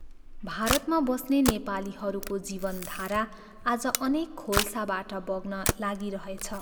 भारतमा बस्ने नेपालीहरूको जीवन धारा आज अनेक खोल्साबाट बग्न लागिरहेछ।